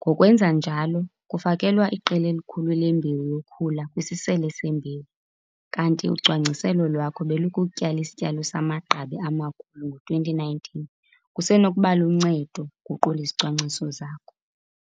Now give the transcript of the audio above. Ngokwenza njalo kufakelwa iqela elikhulu lembewu yokhula kwisisele sembewu, kanti ucwangciselo lwakho belukukutyala isityalo samagqabi amakhulu ngo-2019, kusenokuba luncedo ukuguqula izicwangciso zakho.